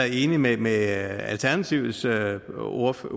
enig med med alternativets ordfører